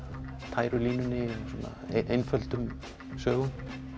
tæru línunni einföldum sögum